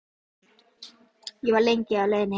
Ég var lengi á leiðinni heim.